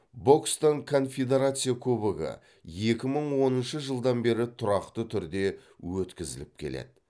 бокстан конфедерация кубогы екі мың оныншы жылдан бері тұрақты түрде өткізіліп келеді